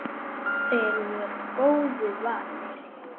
Þeir voru góðu vanir.